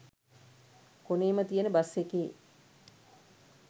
කොනේම තියන බස් එකේ